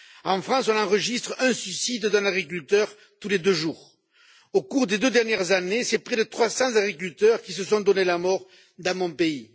En France, on enregistre le suicide d'un agriculteur tous les deux jours. Au cours des deux dernières années, ce sont près de 300 agriculteurs qui se sont donné la mort dans mon pays.